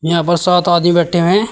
यहां पर सात आदमी बैठे हैं।